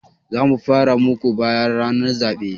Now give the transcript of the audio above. Za mu mara muku baya ranar zaɓe.